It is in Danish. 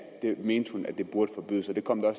det burde forbydes og det kom der